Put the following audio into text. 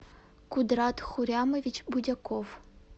кудрат хурямович будяков